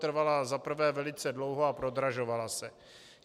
Trvala za prvé velice dlouho a prodražovala se.